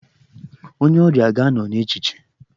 Onye ọrịa ga-anọ n'echiche.